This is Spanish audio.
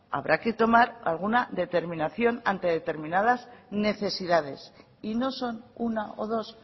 habrá que tomar alguna determinación ante determinadas necesidades y no son una o dos